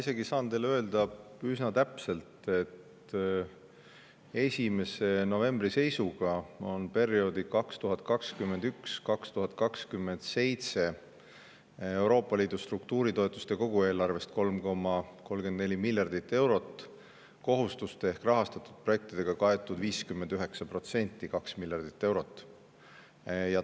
Ma saan teile isegi üsna täpselt öelda, et 1. novembri seisuga on perioodi 2021–2027 Euroopa Liidu struktuuritoetuste kogueelarvest, mis on 3,34 miljardit eurot, 59% – 2 miljardit eurot – kaetud kohustuste ehk rahastatud projektidega.